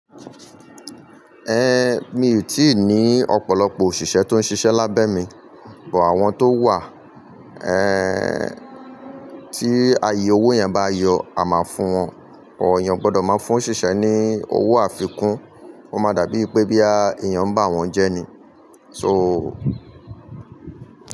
Ẹn, mi ò tíì ní ọ̀pọ̀lọpọ̀ òṣìṣẹ́ tó ń ṣiṣẹ́ lábẹ́ mi, bụ́ àwọn tó wà, ẹ́n ti aye owó yẹn ba yọ, a máa fún wọn. Ooyàn gbọdọ̀ máa fún òṣìṣẹ́ ní owó àfikún, ó máa dàbí pé bí a, ìyàn bá wọn jẹ́ ni. So.